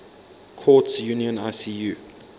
courts union icu